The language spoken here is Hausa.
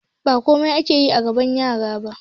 Ba komai ake yi a gaban yara ba